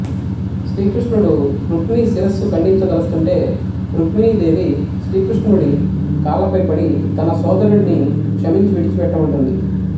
శ్రీకృష్ణుడు రుక్మి శిరస్సు ఖండించదలస్తుంటే రుక్మిణీ దేవి శ్రీకృష్ణుడి కాళ్ళపై పడి తన సోదరుడిని క్షమించి విడిచి పెట్టమంటుంది